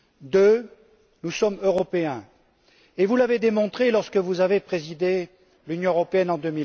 Deuxième point, nous sommes européens. Et vous l'avez démontré lorsque vous avez présidé l'Union européenne en